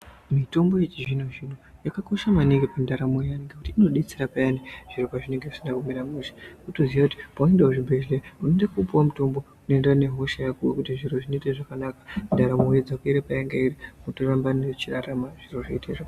Mitombo yechizvino zvino yakakosha maningi mundaramo Yevantu ngekuti inodetsera Payani zviro pazvinenge zvisina kumira mushe wotoziya kuti paunoenda kuzvibhedhlera unoenda kopuwa mutombo wako zviro zvinoita zvakanaka wotoramba uchirarama zvakanaka zviro zvoita zvakanaka.